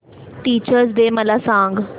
teachers day मला सांग